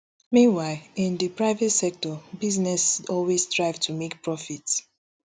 meanwhile in di private sector business always strive to make profit